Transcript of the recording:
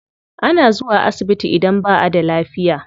Ana zuwa asibiti idan ba a da lafiya.